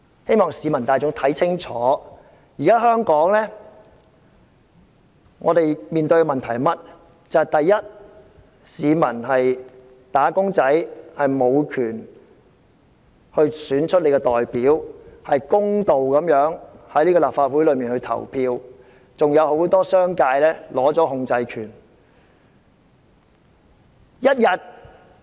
請市民看清楚香港面對的問題：一般市民和"打工仔"無權選出自己的代表，在立法會會議上公道地作出表決，很多商界議員還掌握控制權。